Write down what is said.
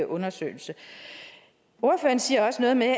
undersøgelse ordføreren siger også noget med